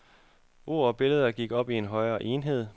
Ord og billeder gik op i en højere enhed.